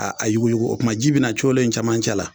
a yuguyugu o tuma ji bɛ na colo in cɛmancɛ la